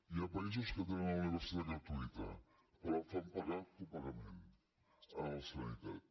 hi ha països que tenen la universitat gratuïta però fan pagar copagament a la sanitat